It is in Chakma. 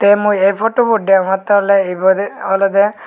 te mui e fotubot degongtte oley ibet olodey.